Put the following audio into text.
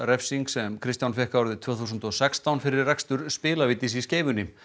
skilorðsrefsing sem Kristján fékk árið tvö þúsund og sextán fyrir rekstur spilavítis í Skeifunni